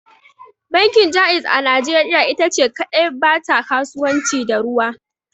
Bankin Jaiz a najeriya ita ce kadai ba ta kasuwanci da ruwa.